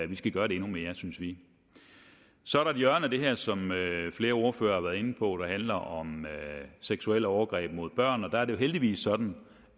vi skal gøre det endnu mere synes vi så er der et hjørne af det her som flere ordførere har været inde på og det handler om seksuelle overgreb mod børn og der er det jo heldigvis sådan